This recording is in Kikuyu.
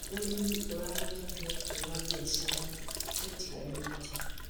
ũrĩmi ũraruta mweke wa biacara ũtiganĩte.